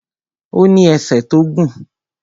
Ó ní ẹsẹ̀ tó gùn